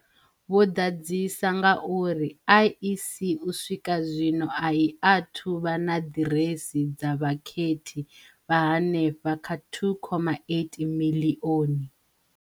Vho ḓadzisa nga uri IEC u swika zwino a i athu vha na ḓiresi dza vhakhethi vha henefha kha two khoma eight miḽioni.